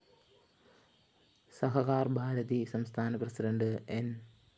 സഹകാര്‍ ഭാരതി സംസ്ഥാന പ്രസിഡന്റ് ന്‌